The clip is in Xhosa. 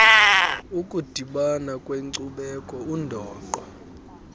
ukudibana kweenkcubeko undoqo